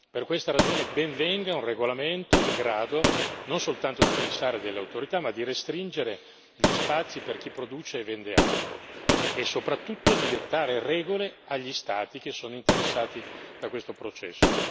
Per questa ragione ben venga un regolamento in grado non soltanto di fissare delle autorità, ma di restringere gli spazi per chi produce e vende armi e soprattutto di dettare regole agli Stati che sono interessati da questo processo.